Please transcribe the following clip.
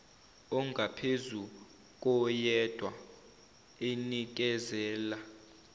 ongaphezu koyedwa enikezela